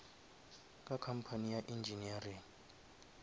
ka company ya engineering